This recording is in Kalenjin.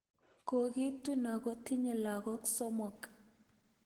Kogitun ako tinye lagok somok